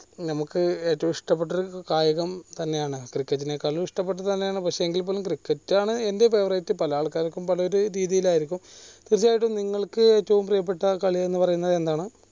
നമുക്ക് ഏറ്റവും ഇഷ്ടപ്പെട്ട ഒരു കായികം തന്നെയാണ് cricket നെ കാളും ഇഷ്ടപ്പെട്ടതാണ് പക്ഷെ എങ്കിൽപോലും cricket ആണ് എൻ്റെ favourite പല ആൾക്കാർക്കും നമുക്ക് ഏറ്റവും ഇഷ്ടപ്പെട്ട ഒരു കായികം തന്നെയാണ് കാലം ഇഷ്ടപ്പെട്ടതാണ് എങ്കിൽപോലും പല ആൾക്കാർക്കും പല ഒരു രീതിയിൽ ആയിരിക്കും പക്ഷെ നിങ്ങൾക്ക് ഏറ്റവും പ്രിയപ്പെട്ട കളി എന്ന് പറയുന്നത് എന്താണ്